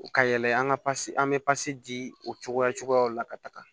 Ka yɛlɛ an ka pase an bɛ pasi di o cogoya cogoyaw la ka taga